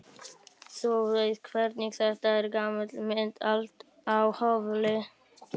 Þú veist hvernig þetta er, gamli minn, allt á hvolfi.